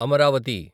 Amaravati